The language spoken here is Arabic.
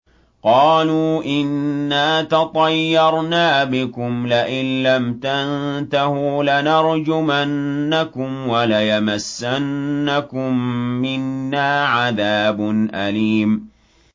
قَالُوا إِنَّا تَطَيَّرْنَا بِكُمْ ۖ لَئِن لَّمْ تَنتَهُوا لَنَرْجُمَنَّكُمْ وَلَيَمَسَّنَّكُم مِّنَّا عَذَابٌ أَلِيمٌ